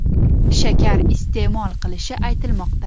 shakar iste’mol qilishi aytilmoqda.